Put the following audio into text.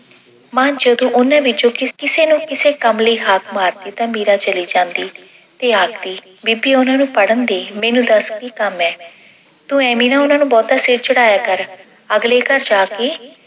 ਮਾਂ ਜਦੋਂ ਉਹਨਾਂ ਵਿੱਚੋਂ ਕਿਸੇ ਨੂੰ ਕਿਸੇ ਕੰਮ ਲਈ ਹਾਕ ਮਾਰਦੀ ਤਾਂ ਮੀਰਾ ਚਲੀ ਜਾਂਦੀ ਤੇ ਆਖਦੀ ਬੀਬੀ ਉਹਨਾਂ ਨੂੰ ਪੜ੍ਹਨ ਦੇ ਮੈਨੂੰ ਦੱਸ ਕੀ ਕੰਮ ਐਂ। ਤੂੰ ਐਂਵੇ ਨਾ ਉਹਨਾਂ ਨੂੰ ਬਹੁਤਾ ਸਿਰ ਚੜਾਇਆ ਕਰ ਅਗਲੇ ਘਰ ਜਾ ਕੇ